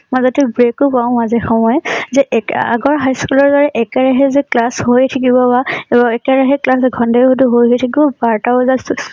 মাজতে break ও পাও মাজে সময়ে । যে আগৰ high school ৰ দৰে যে একে ৰাহে যে class হয় হয়ে থাকিব বা একে ৰাহে class ঘণ্টায়ে ঘণ্টায়ে বহি থাকিব বাৰটা বজাত চু